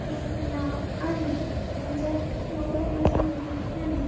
एक नाव आहे त्याच्यात मुलं बसलेली आहेत.